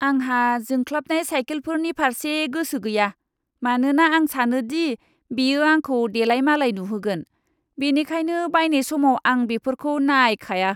आंहा जोंख्लाबनाय साइकेलफोरनि फारसे गोसो गैया, मानोना आं सानो दि बेयो आंखौ देलायमालाय नुहोगोन, बेनिखायनो बायनाय समाव आं बेफोरखौ नायखाया!